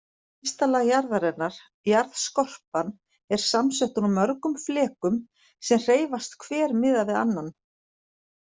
Ysta lag jarðarinnar, jarðskorpan, er samsett úr mörgum flekum sem hreyfast hver miðað við annan.